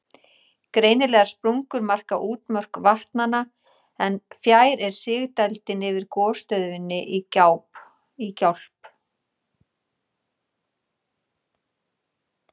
Greinilegar sprungur marka útmörk vatnanna, en fjær er sigdældin yfir gosstöðinni í Gjálp.